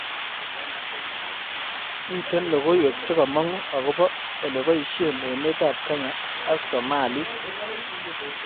Miten logoywek chegamangu agoba olebeshen emetab Kenya ak somalik